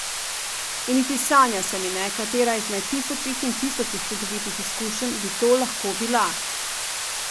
In niti sanja se mi ne, katera izmed tisočih in tisočih čudovitih izkušenj bi to lahko bila.